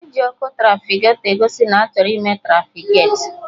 E ji Ọkụ trafiketọ egosi na-achọrọ ịme trafiketi